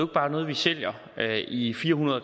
bare noget vi sælger i fire hundrede